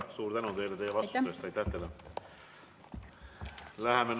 Suur tänu teile vastuste eest, aitäh teile!